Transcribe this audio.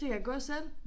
De kan gå selv